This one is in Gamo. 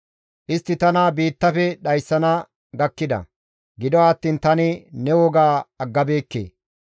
Istti tana biittafe dhayssana gakkida; gido attiin tani ne woga aggabeekke.